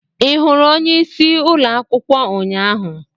Ị hụrụ onyeisi ụlọ akwụkwọ ụnyaahụ?